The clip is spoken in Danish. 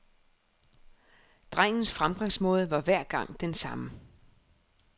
Drengens fremgangsmåde var hver gang den samme.